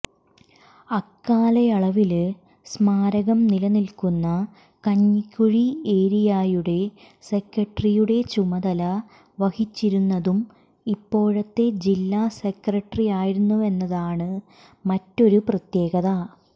അക്കാലയളവില് സ്മാരകം നിലനില്ക്കുന്ന കഞ്ഞിക്കുഴി ഏരിയായുടെ സെക്രട്ടറിയുടെ ചുമതല വഹിച്ചിരുന്നതും ഇപ്പോഴത്തെ ജില്ലാ സെക്രട്ടറിയായിരുന്നുവെന്നതാണ് മറ്റൊരു പ്രത്യേകത